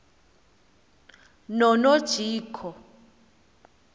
nonojico